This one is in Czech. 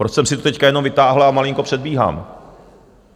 Proč jsem si to teď jenom vytáhl a malinko předbíhám?